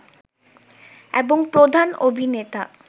এবং প্রধান অভিনেতা